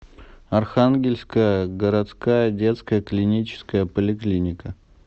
архангельская городская детская клиническая поликлиника